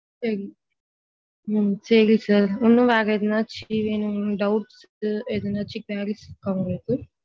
சேரி sir இன்னும் வேற எதுனாச்சும் doubts எதுனாச்சும் இருக்கா உங்கள்ளுக்கு.